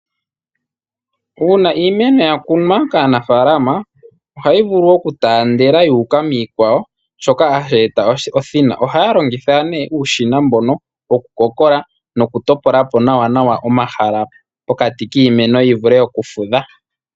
Uuna iimeno yakunwa kaanafaalama ohayi vulu okutaandela yuuka miikwawo, shoka hashi eta othina. Ohaya longitha nee uushina mbonk woku kokola noku topola po nawa omahala pokati kiimeno yivule okufudha.